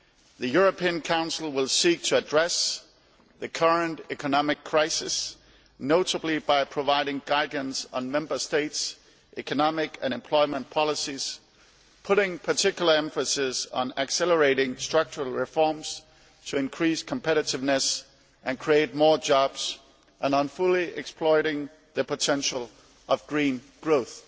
The European Council will seek to address the current economic crisis, notably by providing guidance on Member States' economic and employment policies, putting particular emphasis on accelerating structural reforms to increase competitiveness and create more jobs and on fully exploiting the potential of green growth.